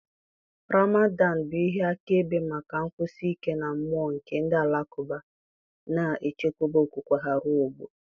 ramadan bụ ihe akaebe maka nkwụsi ike na mmụọ nke ndị Alakụba, na-echekwa okwukwe ha ruo ọgbọ.